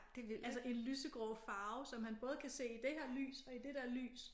Altså en lysegrå farve som han både kan se i det her lys og i det der lys